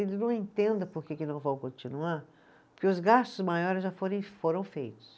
Ele não entenda por que que não vão continuar, porque os gastos maiores já forem, foram feitos.